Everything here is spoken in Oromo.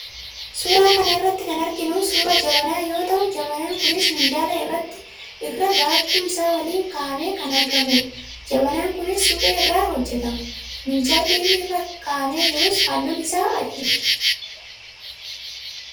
Suuraa kana irratti kan arginu suuraa jabanaa yoo ta'u, jabanaan kunis minjaala irra baattuu isaa waliin kaahamee kan argamudha. Jabanaan kunis suphee irraa hojjetama. Miinjalli inni rra kaahamee jirus, halluun isaa adiidha.